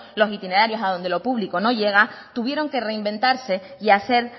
los itinerarios a donde lo público no llega tuvieron que reinventarse y hacer